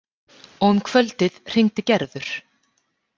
Og um kvöldið hringdi Gerður.